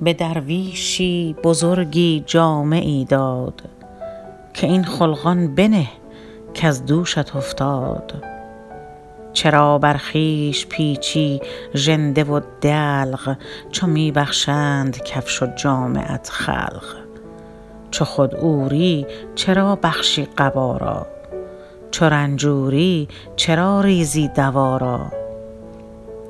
به درویشی بزرگی جامه ای داد که این خلقان بنه کز دوشت افتاد چرا بر خویش پیچی ژنده و دلق چو می بخشند کفش و جامه ات خلق چو خود عوری چرا بخشی قبا را چو رنجوری چرا ریزی دوا را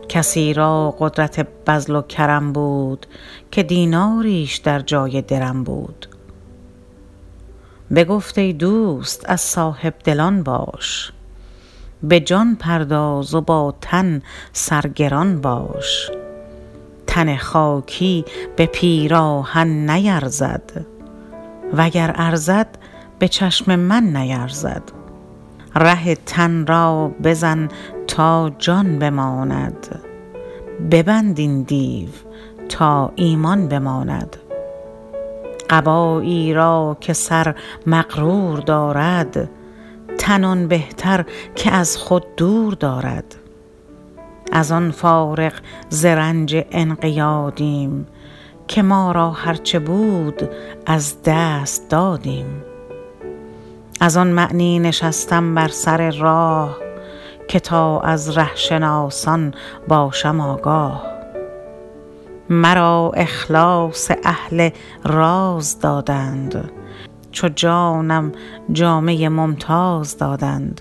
کسی را قدرت بذل و کرم بود که دیناریش در جای درم بود بگفت ای دوست از صاحبدلان باش بجان پرداز و با تن سرگران باش تن خاکی به پیراهن نیرزد وگر ارزد بچشم من نیرزد ره تن را بزن تا جان بماند ببند این دیو تا ایمان بماند قبایی را که سر مغرور دارد تن آن بهتر که از خود دور دارد از آن فارغ ز رنج انقیادیم که ما را هر چه بود از دست دادیم از آن معنی نشستم بر سر راه که تا از ره شناسان باشم آگاه مرا اخلاص اهل راز دادند چو جانم جامه ممتاز دادند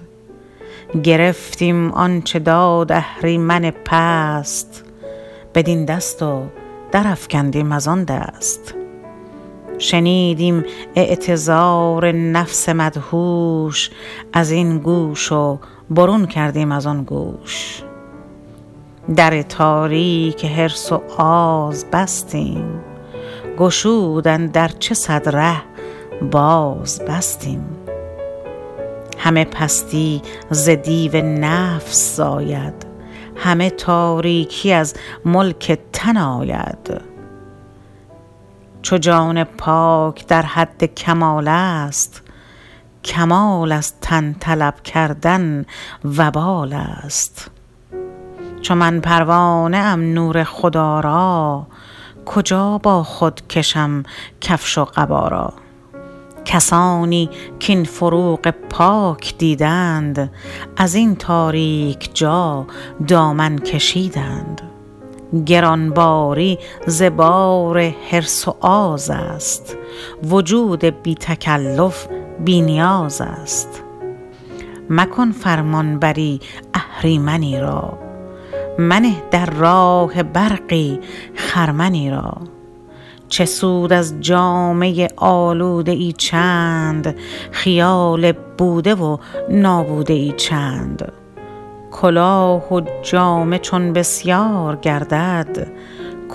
گرفتیم آنچه داد اهریمن پست بدین دست و در افکندیم از آندست شنیدیم اعتذار نفس مدهوش ازین گوش و برون کردیم از آن گوش در تاریک حرص و آز بستیم گشودند ار چه صد ره باز بستیم همه پستی ز دیو نفس زاید همه تاریکی از ملک تن آید چو جان پاک در حد کمال است کمال از تن طلب کردن وبال است چو من پروانه ام نور خدا را کجا با خود کشم کفش و قبا را کسانی کاین فروغ پاک دیدند ازین تاریک جا دامن کشیدند گرانباری ز بار حرص و آز است وجود بی تکلف بی نیاز است مکن فرمانبری اهریمنی را منه در راه برقی خرمنی را چه سود از جامه آلوده ای چند خیال بوده و نابوده ای چند کلاه و جامه چون بسیار گردد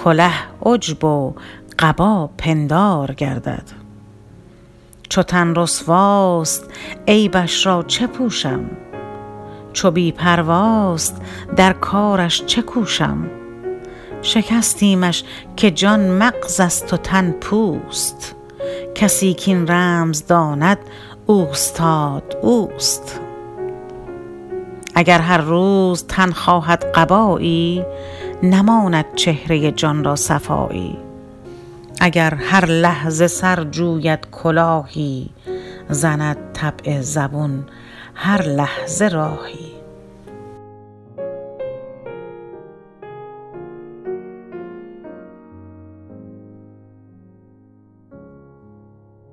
کله عجب و قبا پندار گردد چو تن رسواست عیبش را چه پوشم چو بی پرواست در کارش چه کوشم شکستیمش که جان مغزست و تن پوست کسی کاین رمز داند اوستاد اوست اگر هر روز تن خواهد قبایی نماند چهره جان را صفایی اگر هر لحظه سر جوید کلاهی زند طبع زبون هر لحظه راهی